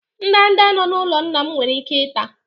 ndanda nọ n'ụlọ nna m nwere ike ịta